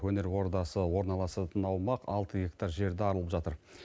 өнер ордасы орналасатын аумақ алты гектар жерді алып жатыр